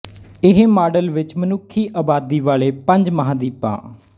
ਇਹ ਮਾਡਲ ਵਿੱਚ ਮਨੁੱਖੀ ਅਬਾਦੀ ਵਾਲੇ ਪੰਜ ਮਹਾਂਦੀਪਾਂ